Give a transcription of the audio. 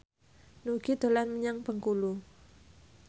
Nugie dolan menyang Bengkulu